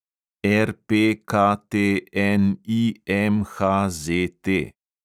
RPKTNIMHZT